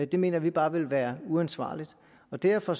det mener vi bare vil være uansvarligt derfor